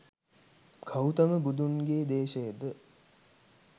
ගෞතම බුදුන්ගේ දේශයේ ද